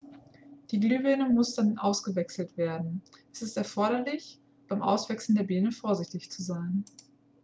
die glühbirne muss dann ausgewechselt werden es ist erforderlich beim auswechseln der birne vorsichtig zu sein